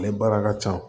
Ale baara ka ca